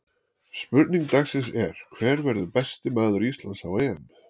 Spurning dagsins er: Hver verður besti maður Íslands á EM?